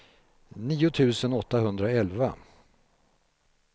nio tusen åttahundraelva